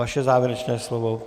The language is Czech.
Vaše závěrečné slovo.